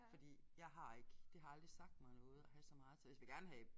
Fordi jeg har ikke det har aldrig sagt mig noget at have så meget tøj altså jeg vil gerne have